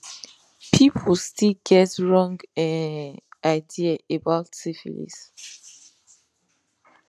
people still get wrong um idea about syphilis